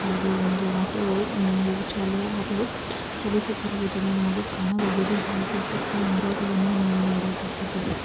ಹಾಗೆ ಒಂದು ಆಟೋ ಚಲಿಸುತ್ತಿರುವುದನ್ನು ನಾವು ಕಾಣಬಹುದು ಹಾಗೆ ಸುತ್ತ ಮರಗಳನ್ನು ನಾವು ನೋಡಬಹುದು.